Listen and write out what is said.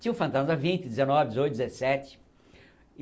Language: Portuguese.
Tinha o fantasma vinte, dezenove, dezoito, dezesete.